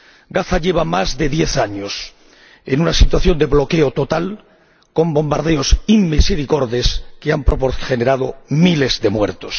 Gaza lleva más de diez años en una situación de bloqueo total con bombardeos inmisericordes que han generado miles de muertos.